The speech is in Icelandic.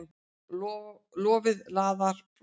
Lofið laðar brosið.